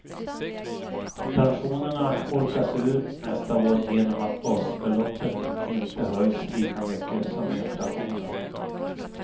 Pensionerna holkas ur nästa år genom att basbeloppet inte höjs lika mycket som inflationen.